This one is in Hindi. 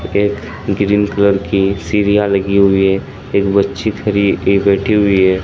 एक ग्रीन कलर की सीरिया लगी हुई है एक बच्ची खरी एक बैठी हुई है।